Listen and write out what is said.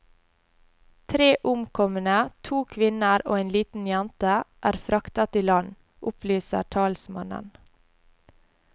Tre omkomne, to kvinner og en liten jente, er fraktet i land, opplyser talsmannen.